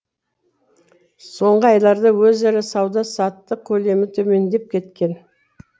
соңғы айларда өзара сауда саттық көлемі төмендеп кеткен